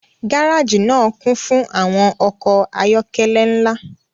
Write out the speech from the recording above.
gareji naa kun fun awọn ọkọ ayọkẹlẹ nla